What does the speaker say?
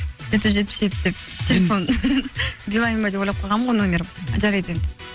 жеті жүз жетпіс жеті деп телефон билаин ба деп ойлап қалғанмын ғой номерін жарайды енді